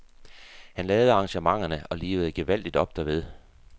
Han lavede arrangementerne og livede gevaldigt op derved.